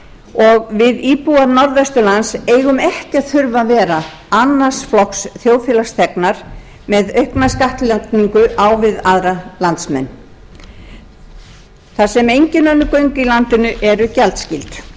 og við íbúar norðvesturlands eigum ekki að þurfa að vera annars flokks þjóðfélagsþegnar með aukna skattlagningu við aðra landsmenn þar sem engin göng í landinu eru gjaldskyld stöðugt er